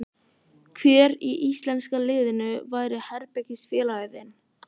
Hver í íslenska liðinu væri herbergisfélagi þinn?